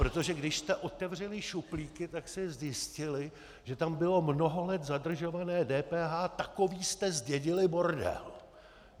Protože když jste otevřeli šuplíky, tak jste zjistili, že tam bylo mnoho let zadržované DPH, takový jste zdědili bordel.